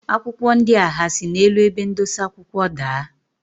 Akwụkwọ ndia ha si n'elu ebe ndosa akwụkwọ daa?